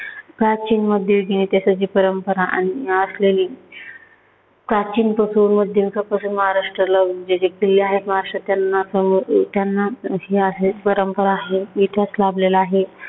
प्राचीन मध्ययुगीन इतिहासाची परंपरा आणि असलेली प्राचीन किल्ले आहेत. प्राचीन असो, मध्ययुगीन असो, महाराष्ट्राला जे जे किल्ले आहेत, महाराष्ट्रात त्यांना हे आहे परंपरा आहे, इतिहास लाभलेला आहे.